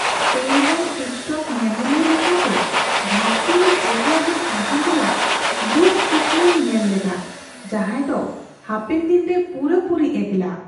Spain ᱨᱮᱱ TikTok ᱧᱮᱧᱮᱞᱤᱭᱟᱹ ᱞᱮᱠᱟ ᱜᱮ ᱫᱷᱟᱹᱨᱛᱤ ᱨᱮ ᱮᱠᱞᱟᱜᱮ ᱛᱟᱦᱮᱱ ᱨᱮᱭᱟᱜ ᱫᱩᱠ ᱠᱩᱠᱢᱩᱧ ᱧᱮᱞ ᱞᱮᱫᱟ, ᱡᱟᱦᱟᱸᱭ ᱫᱚ ᱦᱟᱯᱮᱱᱫᱤᱱ ᱨᱮ ᱯᱩᱨᱟᱹᱯᱩᱨᱤ ᱮᱠᱞᱟ ᱾